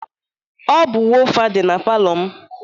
Ọ bụ wofa dị na palọ m.